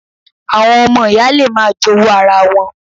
Àwọn ọmọ ìyá le máa jowú ara wọn